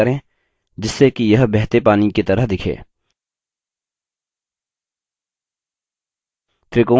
वक्र को व्यवस्थित करें जिससे कि यह बहते पानी की तरह दिखे